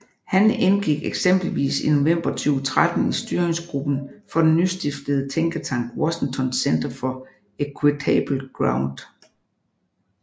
Han indgik eksempelvis i november 2013 i styringsgruppen for den nystiftede tænketank Washington Center for Equitable Growth